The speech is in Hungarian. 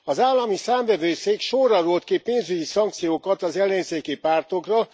Az Állami Számvevőszék sorra rótt ki pénzügyi szankciókat az ellenzéki pártokra.